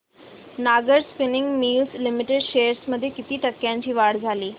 Nahar spinning mills limited shares मध्ये किती टक्क्यांची वाढ झाली